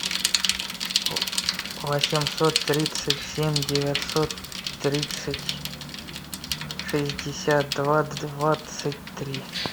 восемьсот тридцать семь девятьсот тридцать шестьдесят два двадцать три